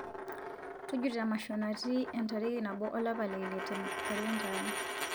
tujuto emasho natii entariki nabo olapa le ile te nkaleta aai